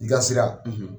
I ka sira